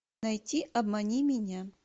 найти обмани меня